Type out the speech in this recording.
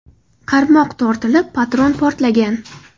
Qarmoq tortilib, patron portlagan.